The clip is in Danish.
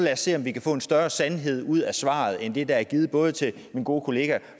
se om vi kan få en større sandhed ud af svaret end det der er givet både til min gode kollega